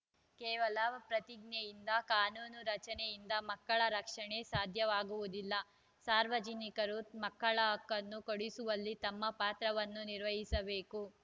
ಕೇವಲ ಪ್ರತಿಜ್ಞೆಯಿಂದ ಕಾನೂನು ರಚನೆಯಿಂದ ಮಕ್ಕಳ ರಕ್ಷಣೆ ಸಾಧ್ಯವಾಗುವುದಿಲ್ಲ ಸಾರ್ವಜನಿಕರು ಮಕ್ಕಳ ಹಕ್ಕನ್ನು ಕೊಡಿಸುವಲ್ಲಿ ತಮ್ಮ ಪಾತ್ರವನ್ನು ನಿರ್ವಹಿಸಬೇಕು